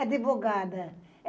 É advogada.